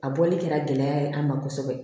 A bɔli kɛra gɛlɛya ye an ma kosɛbɛ